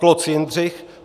Kloc Jindřich